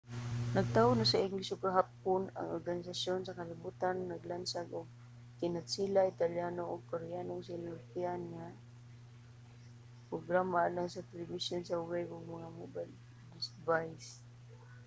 nagtaho na sa ingles ug hapon ang organisasyon sa kalibutan naglansad og kinatsila italyano ug koreanong sinultian nga mga programa alang sa telebisyon sa web ug mga mobile device